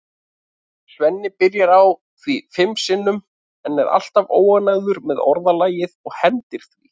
Svenni byrjar á því fimm sinnum en er alltaf óánægður með orðalagið og hendir því.